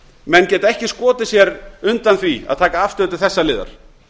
menn geta ekki skotið sér undan því að taka afstöðu til þessa liðar